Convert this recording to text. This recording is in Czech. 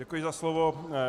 Děkuji za slovo.